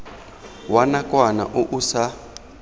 wa nakwana o o sa